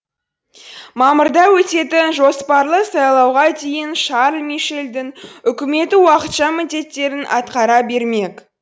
мамырда өтетін жоспарлы сайлауға дейін шарль мишельдің үкіметі уақытша міндеттерін атқара бермек